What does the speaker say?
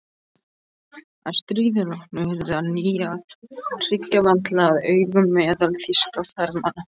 Að stríði loknu yrði á ný að hyggja vandlega að aganum meðal þýskra farmanna.